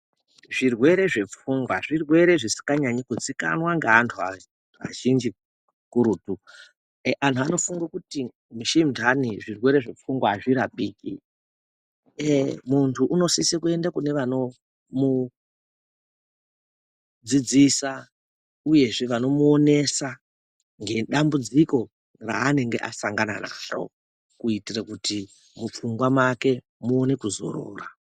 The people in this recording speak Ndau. Zvirwere zvepfungwa zvirwere zvisikanyanyi kuzikanwa ngeantu azhinji kakurutu antu anofunga kuti mishindani zvirwere zvefungwa hazvirapiki muntu unosisekuenda kune vanomudzidzisa uyezve vanomuonesa ngedambudziko raanenge asangana naro kuitira kuti mupfungwa make muone kuzorora.